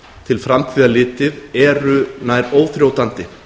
til framtíðar litið eru nær óþrjótandi